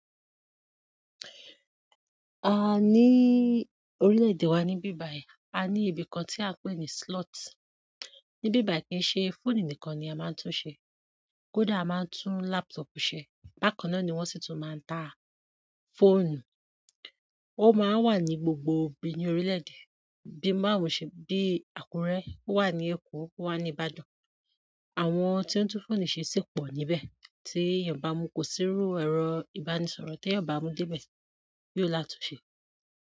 A ní orílẹ̀-èdè wa ní bíbàì, a ní ibi kan tí a pè ní slot. Ní bíbàì kí n ṣe fóònù nìkan ni a máa ń tún un ṣe. Kódà a máa ń tún laptop ṣe. Bákanná ni wọ́n sì tún máa ń tà fóònù. Ó máa wà ní gbogbo bi ní orílẹ̀-èdè. Bí i Mároṣè, bí i Àkúrẹ́, ó wà ní Èkó, ó wà ní Ìbàdàn. Àwọn tí ó ń tún fóònù ṣe sì pọ̀ níbẹ̀. Tí èèyàn bá mu kò-síru ẹ̀rọ ìbánisọ̀rọ̀, tèyàn bá mu dé ibẹ̀, yi ò látunṣe.